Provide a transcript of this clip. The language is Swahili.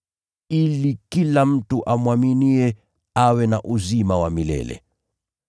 Ili kila mtu amwaminiye awe na uzima wa milele.